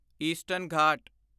eastern Ghat